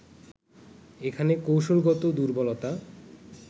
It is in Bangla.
এখানে কৌশলগত দুর্বলতা